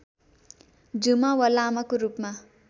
झुमा वा लामाको रूपमा